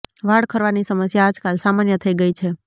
વાળ ખરવાની સમસ્યા આજકાલ સામાન્ય થઇ ગઇ છે